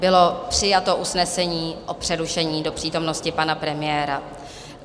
Bylo přijato usnesení o přerušení do přítomnosti pana premiéra.